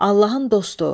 Allahın dostu.